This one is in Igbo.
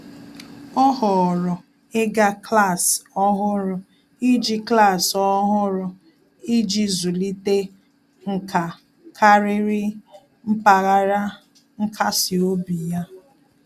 Ọ́ họ̀ọ̀rọ̀ ị́gá klas ọ́hụ́rụ́ iji klas ọ́hụ́rụ́ iji zụ́líté nkà kàrị́rị́ mpaghara nkasi obi ya.